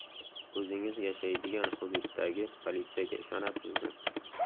O‘zingiz yashaydigan hududdagi politsiyaga ishonasizmi?